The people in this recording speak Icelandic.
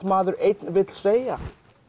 maður einn vill segja